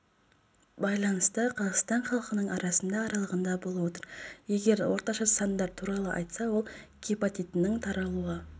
байланысты қазақстан халқынының арасында аралығында болып отыр егер орташа сандар туралы айтсақ онда гепатитінің таралуы